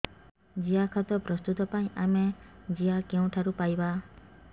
ଜିଆଖତ ପ୍ରସ୍ତୁତ ପାଇଁ ଆମେ ଜିଆ କେଉଁଠାରୁ ପାଈବା